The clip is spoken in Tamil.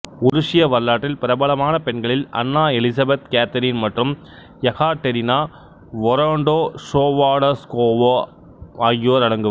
உருசிய வரலாற்றில் பிரபலமான பெண்களில் அன்னா எலிசபெத் கேத்தரின் மற்றும் யெகாடெரினா வொரொன்டோசோவாடாஷ்கோவா ஆகியோர் அடங்குவர்